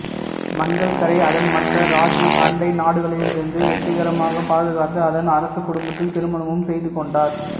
மங்கல்கரை அதன் மற்ற ராஜ்புத் அண்டை நாடுகளிடமிருந்து வெற்றிகரமாகப் பாதுகாத்து அதன் அரச குடும்பத்தில் திருமணமும் செய்து கொண்டார்